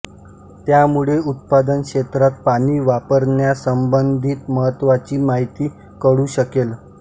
त्यामुळे उत्पादन क्षेत्रात पाणी वापरण्यासंबंधीत महत्वाची माहिती कळू शकेल